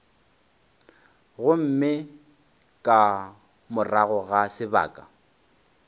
gomme ka morago ga sebaka